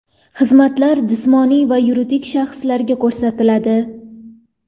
Xizmatlar jismoniy va yuridik shaxslarga ko‘rsatiladi.